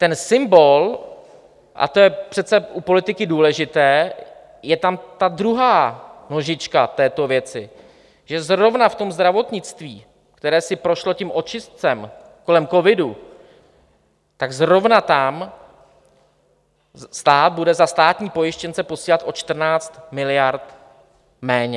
Ten symbol, a to je přece u politiky důležité, je tam ta druhá nožička této věci, že zrovna v tom zdravotnictví, které si prošlo tím očistcem kolem covidu, tak zrovna tam stát bude za státní pojištěnce posílat o 14 miliard méně.